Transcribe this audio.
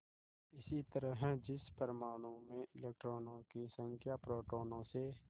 इसी तरह जिस परमाणु में इलेक्ट्रॉनों की संख्या प्रोटोनों से